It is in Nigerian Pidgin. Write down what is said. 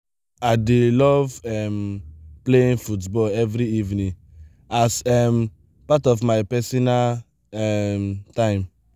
i dey love um playing football every evening as um part of my personal um time.